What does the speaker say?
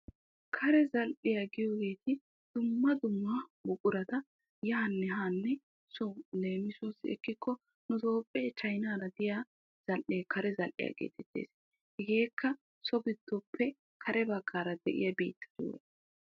Kare zal"iyaa giyoogeti dumma dumma buqurata zal"iyaa yaanne haanne leemisuwaassi ekikko nu toophphee chanyinaara de'iyaa zal"ee kare zal"iyaa getettees. hegeekka so giddoppe kare baggaara de'iyaa biittatura.